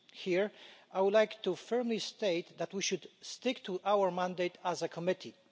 Here I would like to firmly state that we should stick to our mandate as a committee.